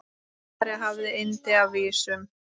María hafði yndi af vísum.